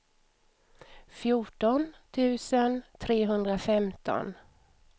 fjorton tusen trehundrafemton